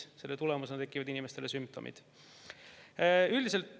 Selle tulemusena tekivad inimestel sümptomid.